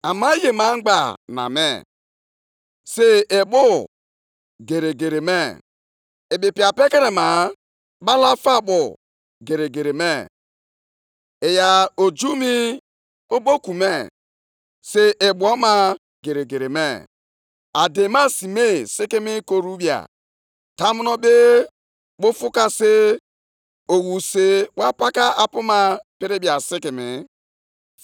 Amara m jijiji nʼobi m mgbe m nụrụ ihe ndị a niile, egbugbere ọnụ m abụọ kụkọtara nʼegwu, ọkpụkpụ dị m nʼahụ malitere ire ure, mee ka ụkwụ m maa jijiji. Ma aga m eji ndidi chere ụbọchị ọjọọ ahụ nke ga-abịakwasị ndị ahụ na-abịa ibuso anyị agha.